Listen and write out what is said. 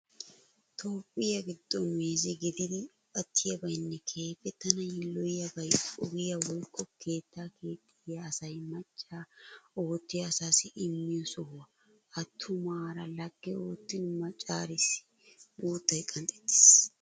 Toophphiyaa giddon meeze gididi attidabaynne keehippe tana yilloyiyaabay oogiyaa woykko keettaa keexxiya asay maca oottiyaa asaassi immiyoo sohuwaa. Attumaara lagge oottin maccarissi guuttay qanxxettes.